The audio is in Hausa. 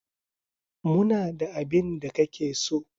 Muna da abin da kake so.